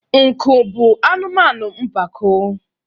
nku bụ anụmanụ mpako